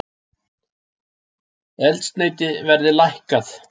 Eldsneyti verði lækkað